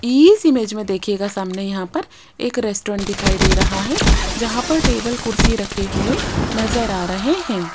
इस इमेज में देखिएगा सामने यहां पर एक रेस्टोरेंट दिखाई दे रहा है जहां पर टेबल कुर्सी रखे हुए नज़र आ रहे हैं।